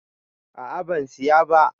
A'a ban Siya ba.